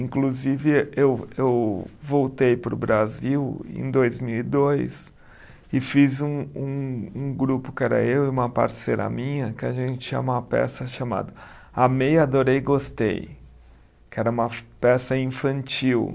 Inclusive, eu eu voltei para o Brasil em dois mil e dois e fiz um um um grupo que era eu e uma parceira minha que a gente tinha uma peça chamada Amei, Adorei, Gostei, que era uma peça infantil.